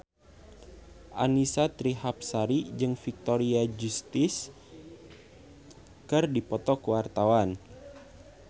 Annisa Trihapsari jeung Victoria Justice keur dipoto ku wartawan